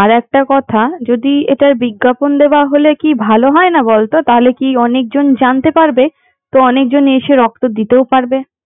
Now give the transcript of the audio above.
আর একটা কথা যদি এটার বিজ্ঞাপন দেওয়া হলে কি ভালো হয় না বলতো তাহলে অনেকজন জানতে পারবে, তো অনেকজন এসে রক্ত দিতেও পারবে